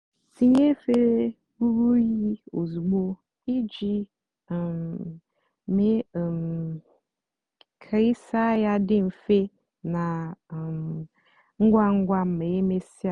tinye efere rúrú unyi ozugbo íjì um mée um kà ịsá yá dị mfè nà um ngwa ngwa mà emesíá.